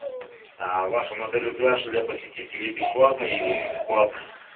в вашем отеле пляж для посетителей бесплатный или платный